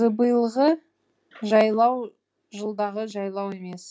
биылғы жайлау жылдағы жайлау емес